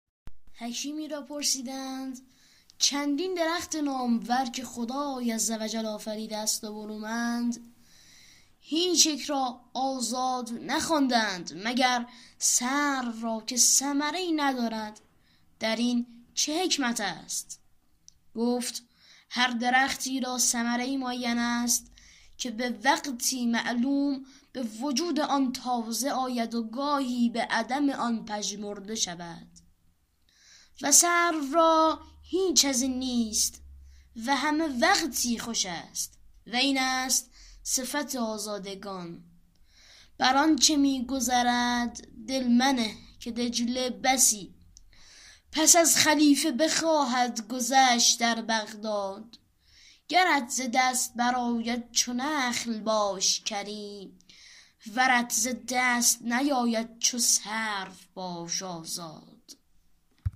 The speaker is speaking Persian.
حکیمی را پرسیدند چندین درخت نامور که خدای عز و جل آفریده است و برومند هیچ یک را آزاد نخوانده اند مگر سرو را که ثمره ای ندارد در این چه حکمت است گفت هر درختی را ثمره ای معین است که به وقتی معلوم به وجود آن تازه آید و گاهی به عدم آن پژمرده شود و سرو را هیچ از این نیست و همه وقتی خوش است و این است صفت آزادگان بر آنچه می گذرد دل منه که دجله بسی پس از خلیفه بخواهد گذشت در بغداد گرت ز دست برآید چو نخل باش کریم ورت ز دست نیاید چو سرو باش آزاد